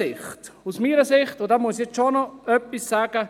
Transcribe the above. Ich muss noch etwas zur Haltung der FDP sagen: